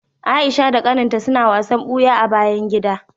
Aisha da kaninta suna wasan buya a bayan gida.